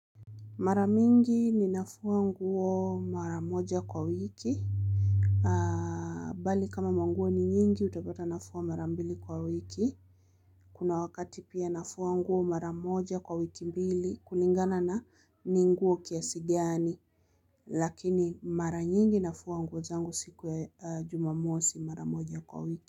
Mara mingi ninafua nguo mara moja kwa wiki, bali kama manguo ni nyingi utapata nafua mara mbili kwa wiki, kuna wakati pia nafua nguo mara moja kwa wiki mbili kulingana na ni nguo kiasi gani, lakini mara nyingi nafua nguo zangu siku ya Jumamosi mara moja kwa wiki.